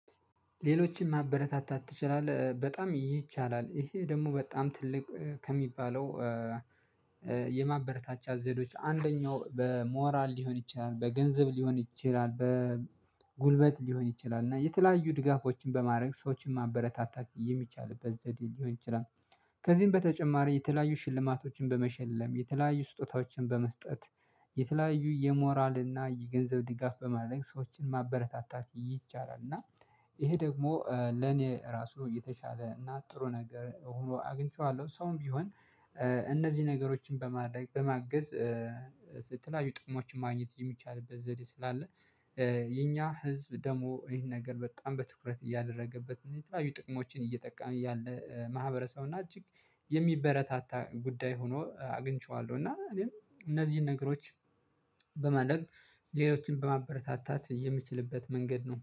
ሌሎችን ማበረታታት ትችላለህ በጣም ይቻላል ይሄ ደግሞ በጣም ትልቅ ከሚባለው የማበረታቻ ዘዴዎች አንደኛው በሞራል ሊሆን ይችላል በገንዘብ ሊሆን ይችላል በጉልበት ሊሆን ይችላል እና የተለያዩ ድጋፎችን በማረግ ሰዎችን ማበረታታት የሚቻልበት ዘዴ ሊሆን ይችላል ከዚህም በተጨማሪ የተለያዩ ሽልማቶችን በመሸለም፣ የተለያዩ ስጦታዎችን በመስጠት፣ የተለያዩ የሞራል እና የገንዘብ ድጋፍ በማድረግ ሰዎችን ማበረታታት ይቻላል፤ እና ይሄ ደግሞ ለኔ ራሱ የተሻለ እና ጥሩ ነገር ሆኖ አግኝቼዋለሁ። ሰውም ቢሆን እነዚህ ነገሮችን በማድረግ በማገዝ ስለተለያዩ ጥቅሞችን ማግኘት የሚቻልበት ዘዴ ስላለ የኛ ህዝብ ደግሞ ይሄን ነገር በጣም በትኩረት እያደረገበት ነው የትላዩ ጥቅሞችን እየጠቃመ ያለ ማሕበረሰብና እጅግ የሚበረታታ ጉዳይ ሆኖ አግኝቼዋለሁ፤ እና እኔም እነዚህን ነገሮች በማድረግ ሌሎችን በማበረታታት የምትችልበት መንገድ ነው።